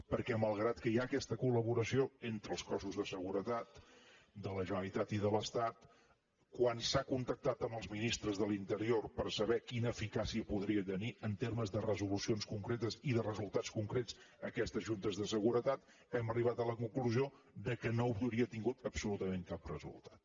perquè malgrat que hi ha aquesta col·laboració entre els cossos de seguretat de la generalitat i de l’estat quan s’ha contactat amb els ministres de l’interior per saber quina eficàcia podrien tenir en termes de resolucions concretes i de resultats concrets aquestes juntes de seguretat hem arribat a la conclusió que no haurien tingut absolutament cap resultat